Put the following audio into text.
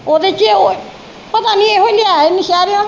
ਓਹਦੇ ਚ ਪਤਾ ਨਹੀਂ ਇਹੋ ਈ ਲਿਆਇਆ ਈ ਨੌਸ਼ੇਰਿਓ